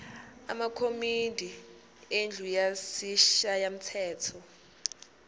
amakomidi endlu yesishayamthetho